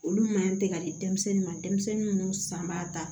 Olu man ɲi tɛ ka di denmisɛnnin ma denmisɛnnin minnu san b'a ta